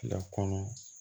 Fila kɔnɔ